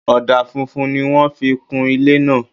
Ọ̀dà funfun ni wọ́n fi kun ilé náà